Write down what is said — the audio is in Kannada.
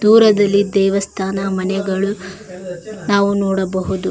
ದೂರದಲ್ಲಿ ದೇವಸ್ಥಾನ ಮನೆಗಳು ನಾವು ನೋಡಬಹುದು.